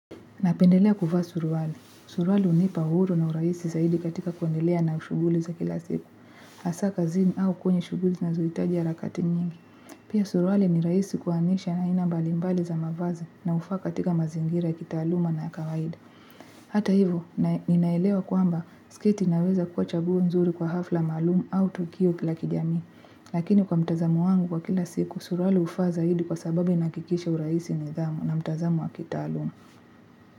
Napendelea kuvaa suruali. Suruali unipa uhuru na uraisi zaidi katika kuandelea na ushuguli za kila siku. Asa kazini au kwenye shughuli zinazoitaji harakati nyingi. Pia suruali ni raisi kuanisha aina mbalimbali za mavazi na ufa katika mazingira ya kitaaluma na kawaida. Hata hivo, ninaelewa kuamba, skiti naweza kuwa chaguo nzuri kwa hafla malumu au tukio la kijami. Lakini kwa mtazamu wangu wa kila siku, suruali ufa zaidi kwa sababi inakikisha uraisi ni dhamu na mtazamu wa kitaalumu.